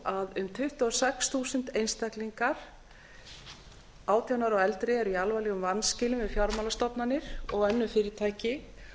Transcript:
að um tuttugu og sex þúsund einstaklingar átján ára og eldri eru í alvarlegum vanskilum við fjármálastofnanir og önnur fyrirtæki